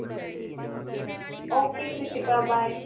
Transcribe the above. okay Kritika bye.